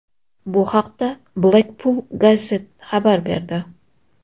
Bu haqda Blackpool Gazette xabar berdi.